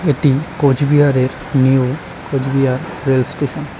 এটি কোচবিহারের new Cooch Behar rail station.